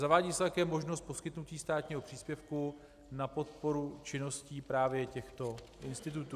Zavádí se také možnost poskytnutí státního příspěvku na podporu činnosti právě těchto institutů.